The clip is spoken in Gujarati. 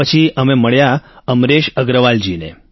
પછી અમે મળ્યા અમરેશ અગ્રવાલ જીને